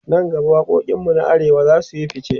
nan gaba waƙoƙin mu na arewa zasuyi ficce